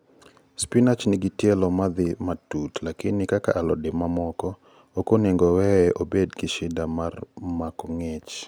Spinach nigi tielo madhii matut lakini kaka alode ma moko, okonego oweye obed gi shida mar mako ngich